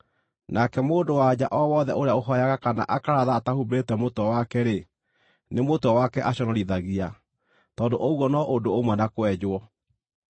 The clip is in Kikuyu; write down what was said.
Nake mũndũ-wa-nja o wothe ũrĩa ũhooyaga kana akaratha atahumbĩrĩte mũtwe wake-rĩ, nĩ mũtwe wake aconorithagia, tondũ ũguo no ũndũ ũmwe na kwenjwo.